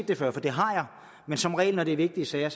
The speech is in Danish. det før for det har jeg men som regel når det er vigtige sager